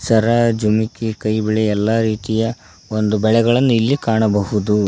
ಸರ ಜುಮ್ಕಿ ಕೈಬಳೆ ಎಲ್ಲಾ ರೀತಿಯ ಒಂದು ಬಳೆಗಳನ್ನು ಇಲ್ಲಿ ಕಾಣಬಹುದು.